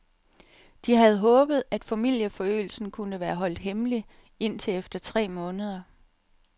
De havde håbet, at familieforøgelsen kunne være holdt hemmelig indtil efter tre måneder.